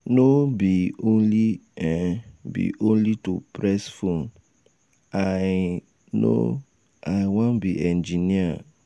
no um be only um be only to press phone i um no. i wan be engineer. um